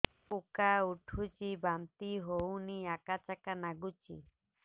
ଉକା ଉଠୁଚି ବାନ୍ତି ହଉନି ଆକାଚାକା ନାଗୁଚି